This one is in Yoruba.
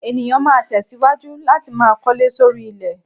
Ènìyàn ma tẹ̀síwájú láti máa kọ́lé sóri ilẹ̀.